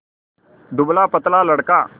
दुबलापतला लड़का